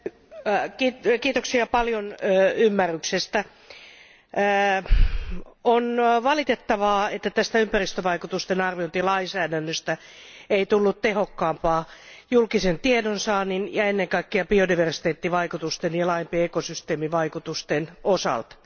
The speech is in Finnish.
Arvoisa puhemies, kiitoksia paljon ymmärryksestä. On valitettavaa, että tästä ympäristövaikutusten arviointilainsäädännöstä ei tullut tehokkaampaa julkisen tiedonsaannin ja ennen kaikkea biodiversiteettivaikutusten ja laajempien ekosysteemivaikutusten osalta.